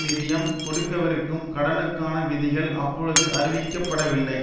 நிதியம் கொடுக்கவிருக்கும் கடனுக்கான விதிகள் அப்பொழுது அறிவிக்கப்படவில்லை